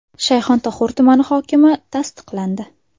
Shayxontohur tumani hokimi tasdiqlandi.